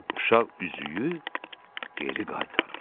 Uşaq üzüyü geri qaytarır.